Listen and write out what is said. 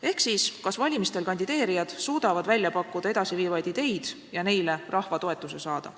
Ehk sellest, kas valimistel kandideerijad suudavad pakkuda edasiviivaid ideid ja neile rahva toetuse saada.